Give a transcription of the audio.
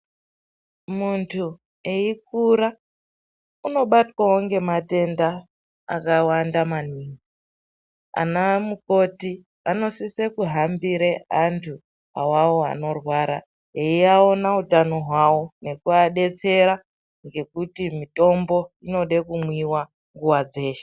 Muntu eikura unobatwawo ngematenda akawanda maningi. Anamukoti anosise kuhambire antu awawo anorwara veiaona utano hwavo nekuvadetsera ngekuti mitombo inode kumwiwa nguwa dzeshe.